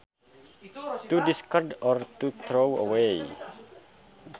To discard or to throw away